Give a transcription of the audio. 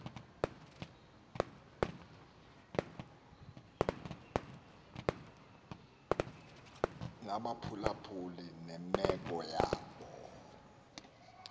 nabaphulaphuli nemeko yabo